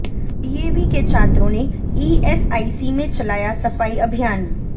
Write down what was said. DAV के छात्रों ने ईएसआईसी में चलाया सफाई अभियान